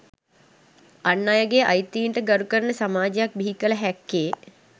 අන් අයගේ අයිතීන් ට ගරු කරන සමාජයක් බිහිකල හැක්කේ